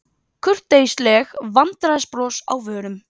Kurteisleg vandræðabros á vörum.